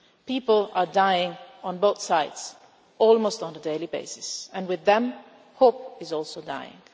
People are dying on both sides almost on a daily basis and with them hope is also dying.